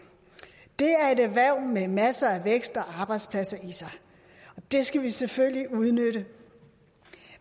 det er et erhverv med masser af vækst og arbejdspladser i sig og det skal vi selvfølgelig udnytte